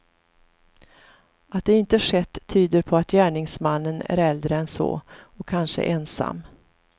Att det inte skett tyder på att gärningsmannen är äldre än så, och kanske ensam.